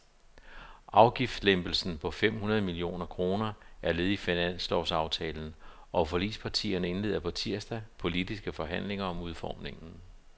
Afgiftslempelsen på fem hundrede millioner kroner er led i finanslovsaftalen, og forligspartierne indleder på tirsdag politiske forhandlinger om udformningen.